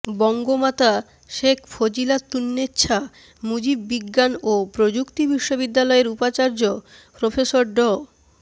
বঙ্গমাতা শেখ ফজিলাতুন্নেছা মুজিব বিজ্ঞান ও প্রযুক্তি বিশ্ববিদ্যালয়ের উপাচার্য প্রফেসর ড